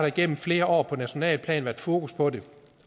igennem flere år på nationalt plan været fokus på det